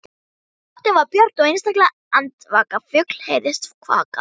Nóttin var björt og einstaka andvaka fugl heyrðist kvaka.